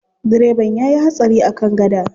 Direban ya yi hatsari a kan gada.